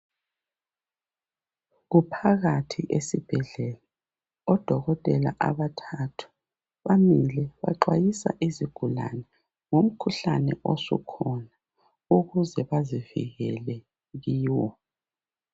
Kuphakathi esibhedlela odokotela abathathu bamile baxwayisa izigulane ngomkhuhlane osukhona ukuze bazivikele kiwo.